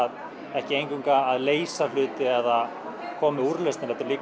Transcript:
ekki eingöngu að leysa hluti eða koma með úrlausnir heldur líka